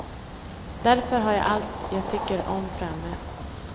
Därför har jag allt jag tycker om framme.